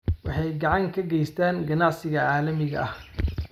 Waxay gacan ka geystaan ??ganacsiga caalamiga ah.